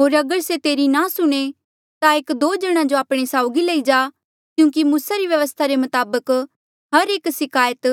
होर अगर से तेरी नी सुणे ता एक दो जणा जो आपणे साउगी लई जा क्यूंकि मूसा री व्यवस्था रे मताबक हर एक सिकायत